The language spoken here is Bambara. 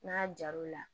N'a jar'o la